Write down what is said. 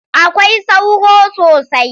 Akwai sauro sosai.